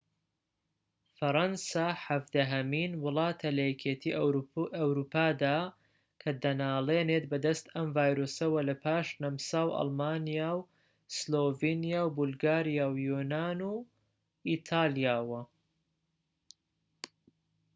فەرەنسا حەڤدەهەمین وڵاتە لە یەکێتی ئەوروپادا کە دەنالێنێت بەدەست ئەم ڤایرۆسەوە لە پاش نەمسا و ئەڵمانیا و سلۆڤینیا و بولگاریا و یۆنان و ئیتالیاوە